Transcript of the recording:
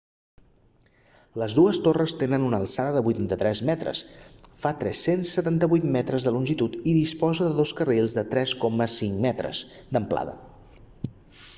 les dues torres tenen una alçada de 83 metres fa 378 metres de longitud i disposa de dos carrils de 3,50 metres d'amplada